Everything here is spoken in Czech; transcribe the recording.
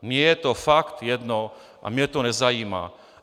Mně je to fakt jedno a mě to nezajímá.